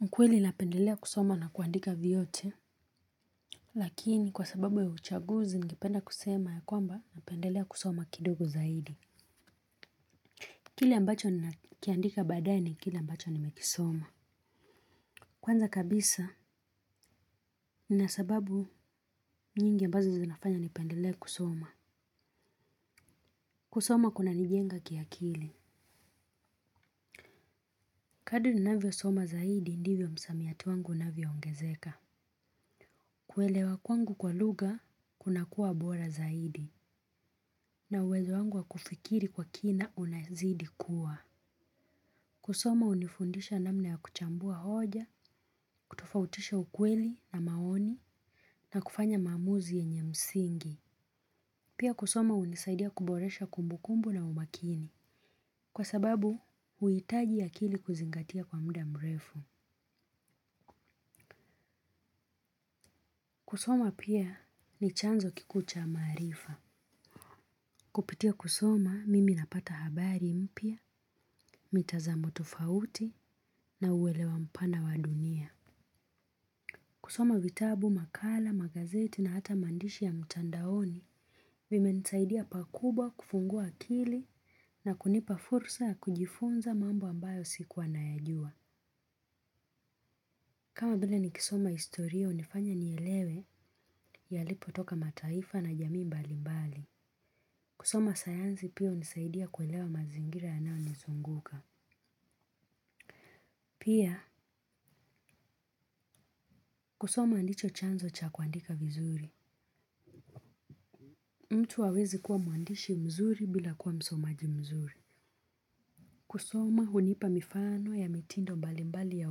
Ni kweli napendelea kusoma na kuandika vyote, lakini kwa sababu ya uchaguzi ningependa kusema ya kwamba napendelea kusoma kidogo zaidi. Kile ambacho ninakiandika badae, kile ambacho nimekisoma. Kwanza kabisa, nina sababu nyingi ambazo zinafanya nipendelee kusoma. Kusoma kunanijenga kia kili. Kadri ninavyosoma zaidi, ndivyo msamiati wangu unavyoongezeka. Kuelewa kwangu kwa lugha, kunakuwa bora zaidi, na uwezo wangu wa kufikiri kwa kina unazidi kuwa. Kusoma hunifundisha namna ya kuchambua hoja, kutofautisha ukweli na maoni, na kufanya maamuzi yenye msingi. Pia kusoma hunisaidia kuboresha kumbukumbu na umakini, kwa sababu huitaji akili kuzingatia kwa muda mrefu. Kusoma pia ni chanzo kikuu cha maarifa. Kupitia kusoma mimi napata habari mpya, mitazamo tofauti na uwelewa mpana wa dunia. Kusoma vitabu, makala, magazeti na hata maandishi ya mtandaoni imenisaidia pakubwa kufungua akili na kunipa fursa ya kujifunza mambo ambayo siku nayajua. Kama vile nikisoma historia, hunifanya nielewe yalipotoka mataifa na jamii mbali mbali. Kusoma sayansi pia hunisaidia kuelewa mazingira yanayonizunguka. Pia, kusoma ndicho chanzo cha kuandika vizuri. Mtu hawezi kuwa mwandishi mzuri bila kuwa msomaji mzuri. Kusoma, hunipa mifano ya mitindo mbali mbali ya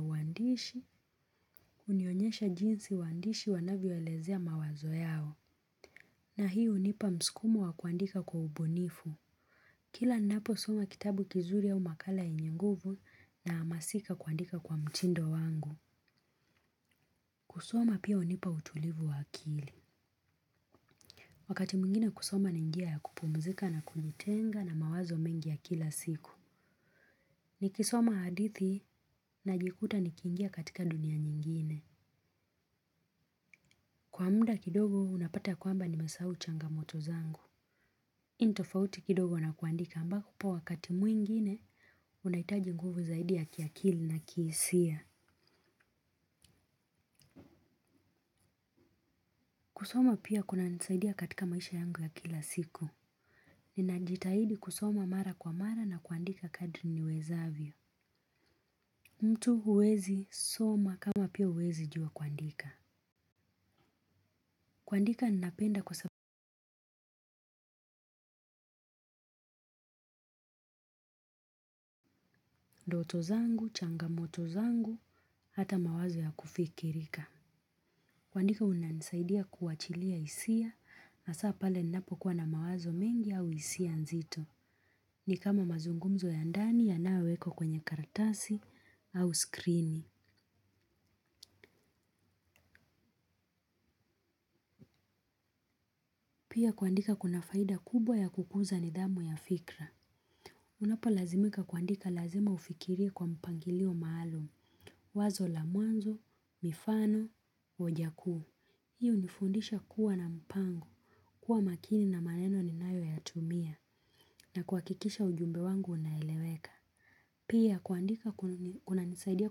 uandishi, hunionyesha jinsi waandishi wanavyoelezea mawazo yao. Na hii hunipa mskumo wa kuandika kwa ubunifu. Kila ninaposoma kitabu kizuri au makala yenye nguvu nahamasika kuandika kwa mtindo wangu. Kusoma pia hunipa utulivu wa akili. Wakati mwingine kusoma ni njia ya kupumzika na kujitenga na mawazo mengi ya kila siku. Nikisoma hadithi najikuta nikiingia katika dunia nyingine. Kwa muda kidogo unapata kwamba nimesahau changamoto zangu. Hii ni tofauti kidogo na kuandika ambapo wakati mwingine unahitaji nguvu zaidi ya kiakili na kihisia. Kusoma pia kuna nisaidia katika maisha yangu ya kila siku. Ninajitahidi kusoma mara kwa mara na kuandika kadri niwezavyo. Mtu huwezi soma kama pia huwezi jua kuandika. Kuandika ninapenda kwa sababu ndoto zangu, changamoto zangu, hata mawazo ya kufikirika. Kuandika unanisaidia kuachilia hisia hasa pale ninapokuwa na mawazo mengi au hisia nzito. Ni kama mazungumzo ya ndani yanayowekwa kwenye karatasi au skrini. Pia kuandika kuna faida kubwa ya kukuza nidhamu ya fikra. Unapo lazimika kuandika lazima ufikirie kwa mpangilio maalum, wazo la mwanzo, mifano, hoja kuu. Hii hunifundisha kuwa na mpango, kuwa makini na maneno ninayoyatumia, na kuhakikisha ujumbe wangu unaeleweka. Pia kuandika kunanisaidia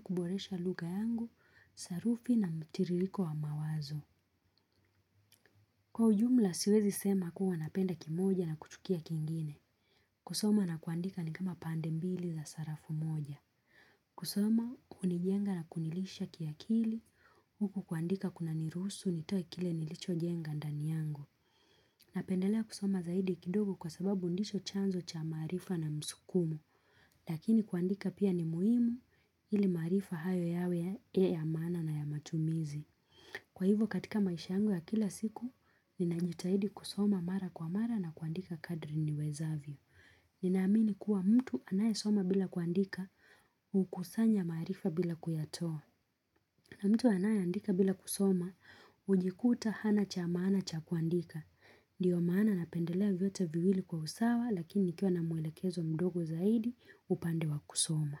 kuboresha lugha yangu, sarufi na mtiririko wa mawazo. Kwa ujumla siwezi sema kuwa napenda kimoja na kuchukia kingine. Kusoma na kuandika ni kama pande mbili za sarafu moja. Kusoma hunijenga na kunilisha kiakili, huku kuandika kunaniruhusu nitoe kile nilichojenga ndani yangu. Napendelea kusoma zaidi kidogo kwa sababu ndicho chanzo cha maarifa na msukumo. Lakini kuandika pia ni muhimu ili maarifa hayo yawe ya ya maana na ya matumizi. Kwa hivyo katika maisha yangu ya kila siku, ninajitahidi kusoma mara kwa mara na kuandika kadri niwezavyo. Ninaamini kuwa mtu anayesoma bila kuandika hukusanya maarifa bila kuyatoa. Na mtu anaye andika bila kusoma hujikuta hana cha maana cha kuandika. Ndiyo maana napendelea vyote viwili kwa usawa lakini nikiwa na mwelekezo mdogo zaidi upande wa kusoma.